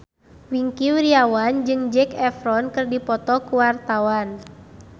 Wingky Wiryawan jeung Zac Efron keur dipoto ku wartawan